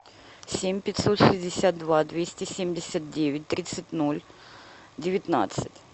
семь пятьсот шестьдесят два двести семьдесят девять тридцать ноль девятнадцать